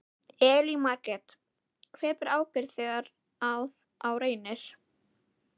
Elín Margrét: Hver ber ábyrgð þegar að á reynir?